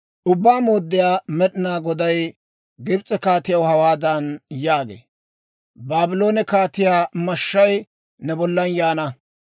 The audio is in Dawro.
« ‹Ubbaa Mooddiyaa Med'inaa Goday Gibs'e kaatiyaw hawaadan yaagee; «Baabloone kaatiyaa mashshay ne bollan yaana.